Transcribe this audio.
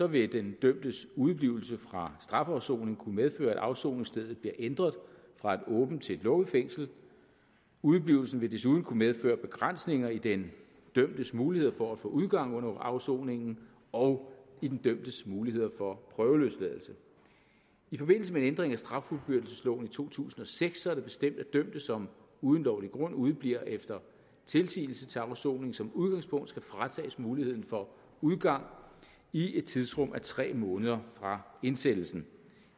vil den dømtes udeblivelse fra strafafsoning kunne medføre at afsoningsstedet bliver ændret fra et åbent til et lukket fængsel udeblivelsen vil desuden kunne medføre begrænsninger i den dømtes muligheder for at få udgang under afsoningen og i den dømtes muligheder for prøveløsladelse i forbindelse med en ændring af straffuldbyrdelsesloven i to tusind og seks er det bestemt at dømte som uden lovlig grund udebliver efter tilsigelse til afsoning som udgangspunkt skal fratages muligheden for udgang i et tidsrum af tre måneder fra indsættelsen